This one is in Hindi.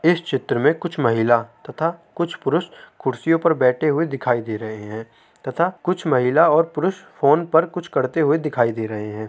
इस चित्र में कुछ महिला तथा कुछ पुरुष कुर्सियों पे बैठे हुए दिखाई दे रहे है तथा कुछ महिला और पुरुष फ़ोन पर कुछ करते हुए दिखाई दे रहे हैं।